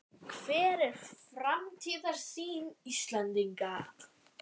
Hver er framtíðarsýn Íslendinga?